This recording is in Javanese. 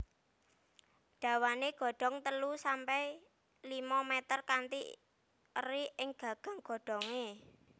Dawané godong telu sampe limo mèter kanthi eri ing gagang godhongé